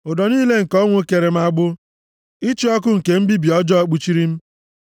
Ụdọ niile nke ọnwụ kere m agbụ; ịchị ọkụ nke mbibi ọjọọ kpuchiri m.